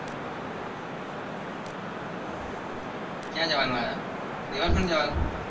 ક્યાં જવાનું આહ river front જવાનું?